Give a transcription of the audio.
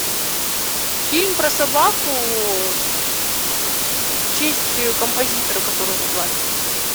фильм про собаку в честь композитора которую назвали